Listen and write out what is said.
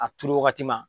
A turu wagati ma